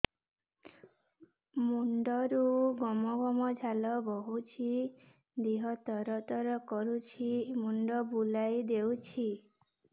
ମୁଣ୍ଡରୁ ଗମ ଗମ ଝାଳ ବହୁଛି ଦିହ ତର ତର କରୁଛି ମୁଣ୍ଡ ବୁଲାଇ ଦେଉଛି